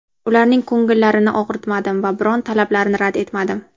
ularning ko‘ngillarini og‘ritmadim va biron talablarini rad etmadim.